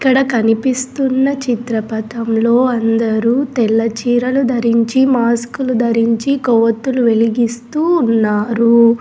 ఇక్కడ కనిపిస్తున్న చిత్రపతంలో అందరూ తెల్లచీరలు ధరించి మాస్కులు ధరించి కోవత్తులు వెలిగిస్తూ ఉన్నారు.